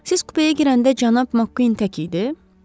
Siz kupeyə girəndə cənab Makkuin tək idi?